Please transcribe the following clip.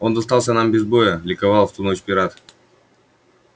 он достался нам без боя ликовал в ту ночь пират